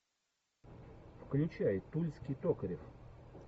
включай тульский токарев